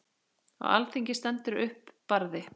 Á alþingi stendur upp Barði